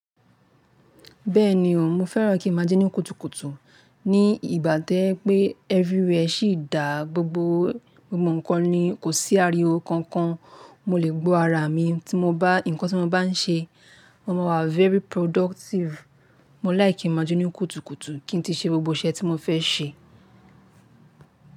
Bẹ́ẹ̀ni ò mo fẹ́ràn kí n máa ji ní kùtùkùtù. Ní ìgbà to je pé everywhere sì dá gbogbo ohun kan ní kò sí àríwó kan kan mo lè gbọ́ ara mi nkan tí mo bá ń ṣe ohun kan, mo máa wa very productive. Mo lìke kí n máa jẹ́ ní kùtùkùtù kí n ti ṣe gbogbo iṣẹ́ tí mo fẹ́ ṣe.